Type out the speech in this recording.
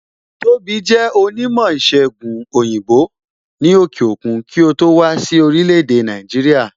Tóbi jẹ onímò ìsègùn òyìnbó ni òkè òkun kí ó tó wá sí orílẹ̀ èdè Nàìjíríà